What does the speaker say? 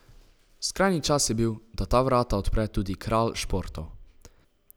Skrajni čas je bil, da ta vrata odpre tudi kralj športov.